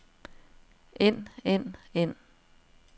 end end end